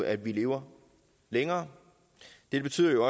at vi lever længere dette betyder jo